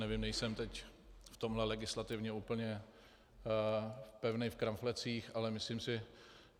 Nevím, nejsem teď v tomto legislativně úplně pevný v kramflecích, ale myslím si.